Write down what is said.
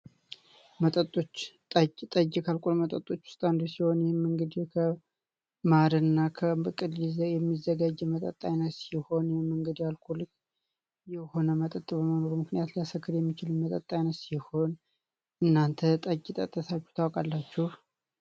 መጠጦች ጠጅ ጠጅ ከአልኮል መጠጦች ውስጥ አንዱ ሲሆን ይህም እንግዲህ ከማር እና ከብቅ የሚዘጋጅ የመጠጥ አይነት ሲሆን ይህም አልኮል በመሆኑ ምክንያት ሊያሰክር የሚችል ሲሆን እናንተ ጠጅ ጠጥታችሁ ታውቃላችሁ?